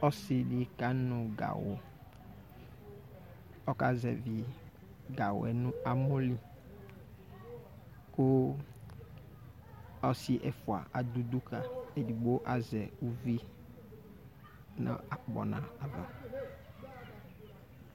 Ɔsɩ dɩ kanʋ gawʋ Ɔkazɛvɩ gawʋ nʋ amɔ li kʋ ɔsɩ ɛfʋa adʋ udu ka, edigbo azɛ uvi nʋ akpɔna ava